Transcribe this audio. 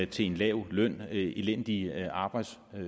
til en lav løn elendige arbejdsforhold